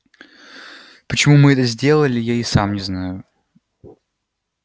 почему мы это сделали я и сам не знаю